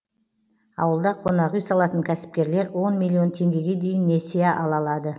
ауылда қонақ үй салатын кәсіпкерлер миллион теңгеге дейін несие ала алады